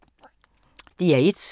DR1